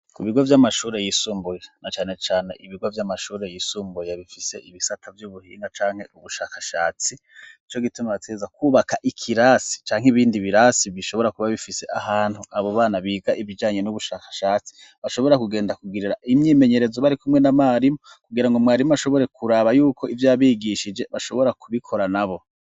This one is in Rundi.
Ku bigo by'amashuri yisumbuye na cane cane ibigo by'amashuri y'isumbuye bifise ibisaka by'ubuhinga canke ubushakashatsi ico gitumabateza kubaka ikirasi cyanke ibindi birasi bishobora kuba bifise ahantu abo bana biga ibijanye n'ubushakashatsi bashobora kugenda kugirira imyimenyerezo bari kumwe na marimu kugira ngo mwarimu ashobore kuraba yuko ibyo abigishije bashobora kubikora nabo.